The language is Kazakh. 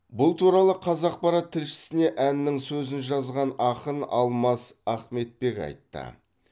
бұл туралы қазақпарат тілшісіне әннің сөзін жазған ақын алмас ахметбек айтты